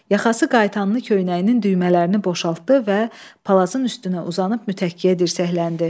Yaxası qayıtanlı köynəyinin düymələrini boşaltdı və palazın üstünə uzanıb mütəkkəyə dirsəkləndi.